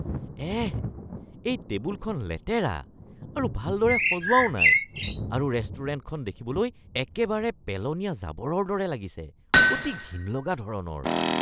এহ! এই টেবুলখন লেতেৰা আৰু ভালদৰে সজোৱাও নাই আৰু ৰেষ্টুৰেণ্টখন দেখিবলৈ একেবাৰে পেলনীয়া জাবৰৰ দৰে লাগিছে, অতি ঘিণ লগা ধৰণৰ!!